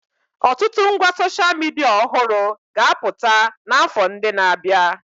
Ọtụtụ ngwa soshal midia ọhụrụ ga-abpụta n'afọ ndị na-abịa.